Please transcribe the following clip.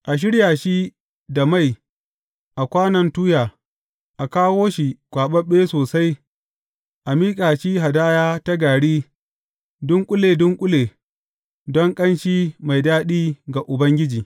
A shirya shi da mai a kwanon tuya, a kawo shi kwaɓaɓɓe sosai, a miƙa shi hadaya ta gari dunƙule dunƙule don ƙanshi mai daɗi ga Ubangiji.